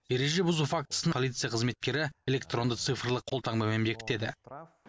ереже бұзу фактісін полиция қызметкері электронды цифрлық қолтаңбамен бекітеді